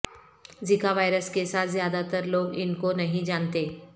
زکا وائرس کے ساتھ زیادہ تر لوگ ان کو نہیں جانتے